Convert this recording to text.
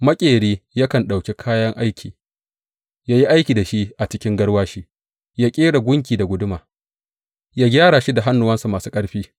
Maƙeri yakan ɗauki kayan aiki ya yi aiki da shi a cikin garwashi; ya ƙera gunki da guduma, ya gyara shi da hannuwansa masu ƙarfi.